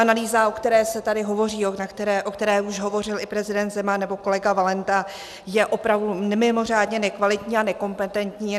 Analýza, o které se tady hovoří, o které už hovořil i prezident Zeman nebo kolega Valenta, je opravdu mimořádně nekvalitní a nekompetentní.